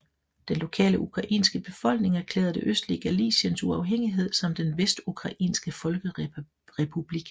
Den lokale ukrainske befolkning erklærede det østlige Galiciens uafhængighed som den Vestukrainske folkerepublik